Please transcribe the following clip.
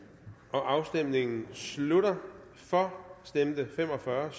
afstemningen slutter for stemte fem og fyrre